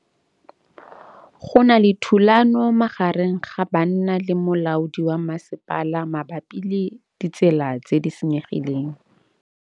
Go na le thulanô magareng ga banna le molaodi wa masepala mabapi le ditsela tse di senyegileng.